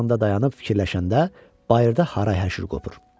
dayanıb fikirləşəndə bayırda haray-həşir qopur.